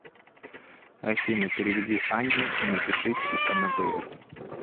афина переведи анне и напиши типа на др